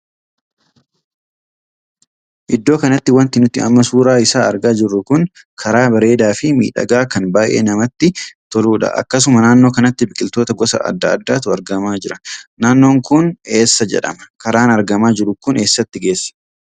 Iddoo kanatti wanti nuti amma suuraa isaa argaa jirru kun karaa bareedaa fi miidhagaa kan baay'ee namatti toluudha. akkasuma naannoo kanatti biqiloota gosa addaa addaatu argamaa jira. naannoon kun eessa jedhadhama? karaan argamaa jiru kun eessatti geessa?